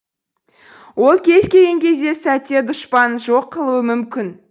ол кез келген сәтте дұшпанын жоқ қылуы мүмкін